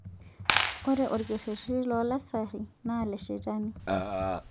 Ore orkerreti loo lasarri na leshetani